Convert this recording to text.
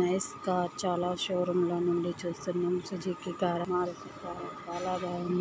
Nice car చాలా showroom లో నుండి చూస్తున్నాం. సుజుకి కార్ మారుతీ కార్ చాలా బాగుంది.